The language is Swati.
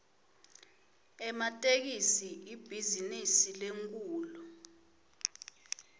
ematekisi ibhizinisi lenkhulu